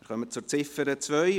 Wir kommen zu Ziffer 2.